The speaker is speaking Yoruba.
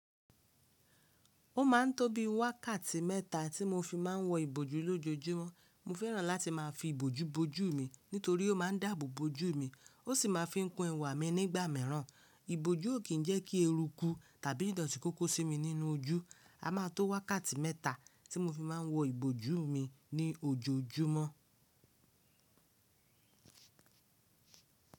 Ó máa ń tó bí wákàtí mẹ́ta tí mo fi má ń wọ ìbòjú lójoojúmọ́. Mo fẹ́ràn láti má fi ìbòjú bo ojú mi nítorí ó má ń dàbò bo ojú mi, ó sì má ń fi kun ẹwà mi nígbà mẹ́ràn. Ìbòjú ò kì ń jẹ́ kí erúkú tàbí ìdọ̀tí kó kó sí mi nínú ojú. A má tó wákàtí mẹ́ta tí mo fi má ń wọ ìbòjú mi ní ojoojúmọ́.